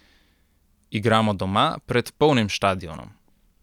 Igramo doma, pred polnim štadionom.